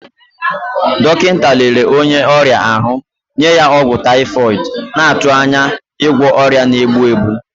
Dọkịta lere onye ọrịa ahụ, nye ya ọgwụ typhoid, na-atụ anya ịgwọ ọrịa na-egbu egbu.